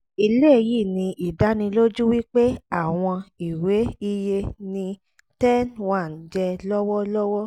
eléyìí ni ìdánilójú wípé àwọn ìwé iye ni ten one jẹ lọ́wọ́ lọ́wọ́